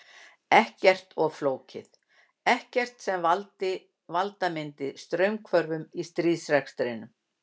Ekkert of flókið, ekkert sem valda myndi straumhvörfum í stríðsrekstrinum.